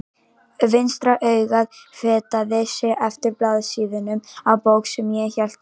Vinstra augað fetaði sig eftir blaðsíðunum á bók sem ég hélt á.